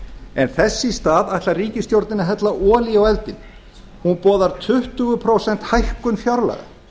en þess í stað ætlar ríkisstjórnin að hella olíu á eldinn hún boðar tuttugu prósenta hækkun fjárlaga